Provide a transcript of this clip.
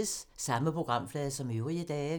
Samme programflade som øvrige dage